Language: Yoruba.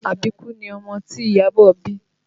Àbíkú ni ọmọ tí Iyabọ̀ bí